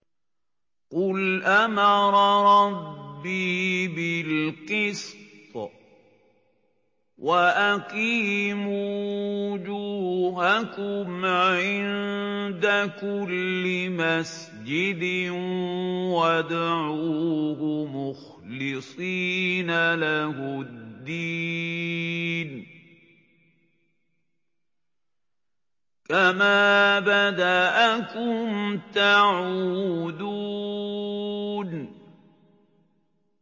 قُلْ أَمَرَ رَبِّي بِالْقِسْطِ ۖ وَأَقِيمُوا وُجُوهَكُمْ عِندَ كُلِّ مَسْجِدٍ وَادْعُوهُ مُخْلِصِينَ لَهُ الدِّينَ ۚ كَمَا بَدَأَكُمْ تَعُودُونَ